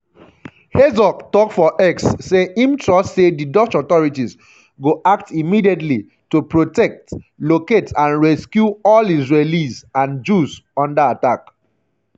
herzog tok for x say im trust say di dutch authorities go act um immediately to "protect um locate and rescue all israelis and jews under attack". um